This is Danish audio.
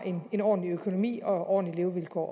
en ordentlig økonomi og ordentlige levevilkår